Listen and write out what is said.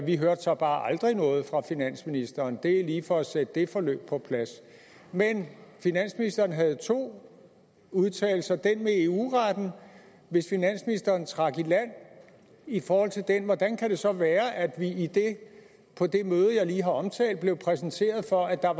vi hørte så bare aldrig noget fra finansministeren det er lige for at sætte det forløb på plads men finansministeren havde to udtalelser hvis finansministeren trak i land i forhold til den hvordan kan det så være at vi på det møde jeg lige har omtalt blev præsenteret for at der